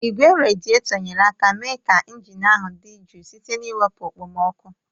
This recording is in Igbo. Igwe radietor nyere aka mee ka injin ahụ dị jụụ site n'iwepụ okpomọkụ.